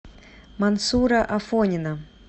мансура афонина